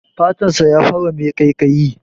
Fatan sa ya fara mai ƙaiƙayi.